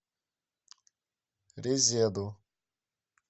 резеду